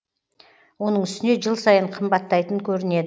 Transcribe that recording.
оның үстіне жыл сайын қымбаттайтын көрінеді